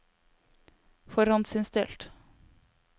forhåndsinnstilt